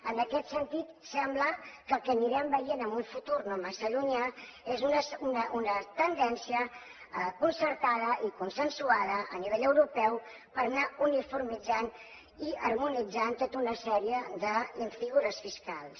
en aquest sentit sembla que el que anirem veient en un futur no massa llunyà és una tendència concertada i consensuada a nivell europeu per anar uniformitzant i harmonitzant tota una sèrie de figures fiscals